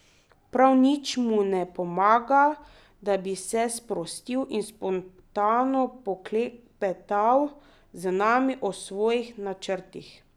Prav nič mu ne pomaga, da bi se sprostil in spontano poklepetal z nami o svojih načrtih.